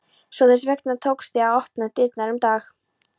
Svo þess vegna tókst þér að opna dyrnar um dag